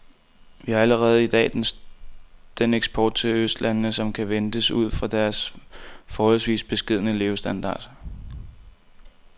Vi har allerede i dag den eksport til østlandene, som kan ventes ud fra deres forholdsvis beskedne levestandard.